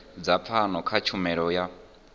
dza pfano kha tshumelo yo